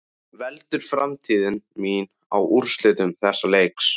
Veltur framtíð mín á úrslitum þessa leiks?